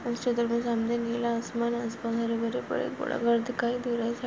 निला आसमान आसपास हरे भरे पेड --